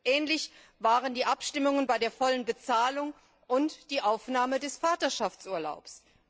Ähnlich waren die Abstimmungen bei der vollen Bezahlung und der Aufnahme des Vaterschaftsurlaubs.